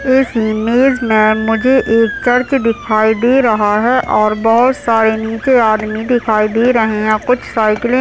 इस इमेज मे मुझे एक चर्च दिखाई दे रहा है और बहुत सारे नीचे आदमी दिखाई दे रहे है यहाँ कुछ साइकिले --